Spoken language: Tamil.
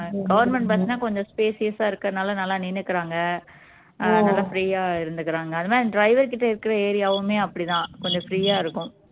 government bus னா கொஞ்சம் spacious ஆ இருக்கதுனால நல்லா நின்னுக்குறாங்க அஹ் நல்லா free ஆ இருந்துக்குறாங்க அது மாதிரி driver கிட்ட area வுமே அப்படி தான் கொஞ்சம் free ஆ இருக்கும்